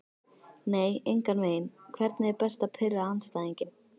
nei engan veginn Hvernig er best að pirra andstæðinginn?